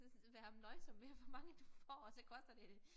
Så være nøjsom med hvor mange du får og så koster det